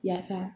Yaasa